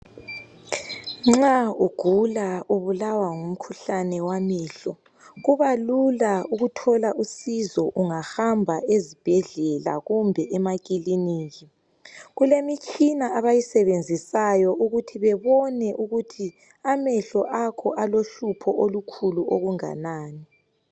Nxa ugula ubulawa ngumkhuhlane wamehlo kuba lula ukuthola usizo ungahamba ezibhedlela kumbe emakilinika kulemitshina abayisebenisayo ukuthi bebone ukuthi amehlo akho alohlupho olukhulu okunganani.